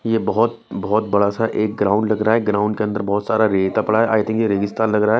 यह बहुत बहुत बड़ा सा एक ग्राउंड लग रहा है ग्राउंड के अंदर बहुत सारा रेता पड़ा है आई थिंक ये रेगिस्तान लग रहा है।